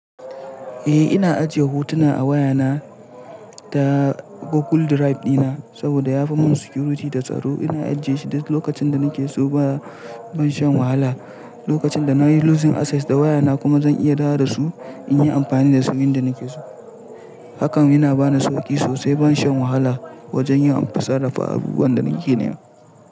Eh ina ajiye hotuna a wayana da Google Drive dina saboda yafi mun security da tsaro. Ina ajiye shi duk lokacin da nake so ba ban shan wahala. Lokacin da nayi losing access da wayana kuma zan iya dawo da su in yi amfani da su inda nake so. Hakan yana bani sauki sosai ban shan wahala wajen yin sarrafa abubuwan da nake nema.